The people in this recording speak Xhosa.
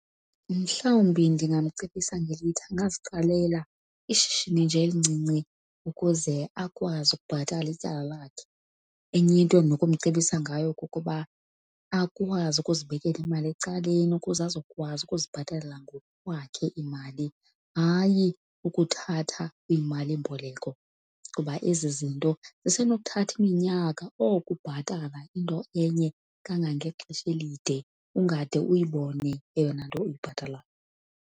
Mhlawumbi ndingamcebisa ngelithi angaziqalela ishishini nje elincinci ukuze akwazi ukubhatala ityala lakhe. Enye into endinokumcebisa ngayo kukuba akwazi ukuzibekela imali ecaleni ukuze azokwazi ukuzibhatalela ngokwakhe imali, hayi ukuthatha iimalimboleko. Kuba ezi zinto zisenokukuthatha iminyaka, oko ubhatala into enye kangangexesha elide ungade uyibone eyona nto uyibhatalayo.